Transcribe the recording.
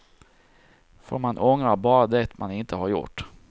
För man ångrar bara det man inte har gjort.